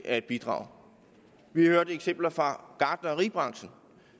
at bidrage vi har hørt eksempler fra gartneribranchen